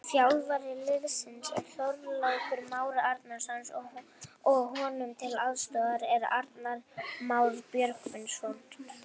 Þjálfari liðsins er Þorlákur Már Árnason og honum til aðstoðar er Arnar Már Björgvinsson.